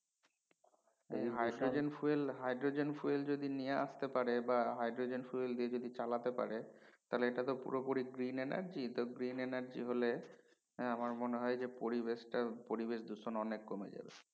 hydrogen fuel hydrogen fuel যদি নিয়ে আসতে পারে বা hydrogen fuel দিয়ে যদি চালাতে পারে তাইলে এটা তো পুরো পুরি green energy তা green energy হলে আমার মনে হয় যে পরিবেশটার পরিবেশ দূষণ অনেক কমে যাবে